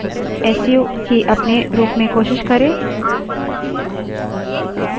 su की अपने रूप में कोशिश करें enter दबायें